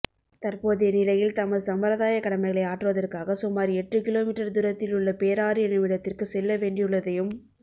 தற்போதைய நிலையில் தமது சம்பிரதாயக் கடமைகளை ஆற்றுவதற்காக சுமார் எட்டு கிலோமீற்றர் தூரத்திலுள்ள பேராறு எனுமிடத்திற்கு செல்ல வேண்டியுள்ளதையும்